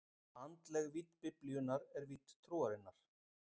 Andleg vídd Biblíunnar er vídd trúarinnar.